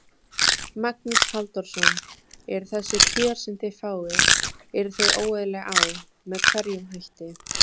Magnús Halldórsson: Eru þessi kjör sem þið fáið, eru þau óeðlileg á, með einhverjum hætti?